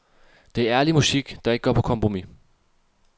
Det er ærlig musik, der ikke går på kompromis.